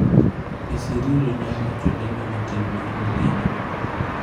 ,Piccirillo ne owacho lendo matin mar mbuyino .